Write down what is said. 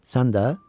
Sən də?